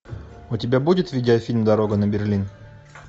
у тебя будет видеофильм дорога на берлин